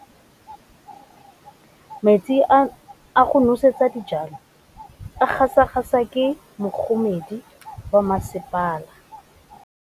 Metsi a go nosetsa dijalo a gasa gasa ke kgogomedi ya masepala.